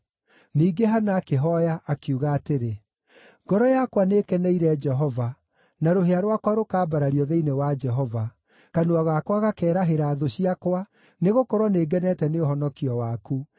Ningĩ Hana akĩhooya, akiuga atĩrĩ: “Ngoro yakwa nĩĩkeneire Jehova; na rũhĩa rwakwa rũkaambarario thĩinĩ wa Jehova. Kanua gakwa gakeerahĩra thũ ciakwa, nĩgũkorwo nĩngenete nĩ ũhonokio waku.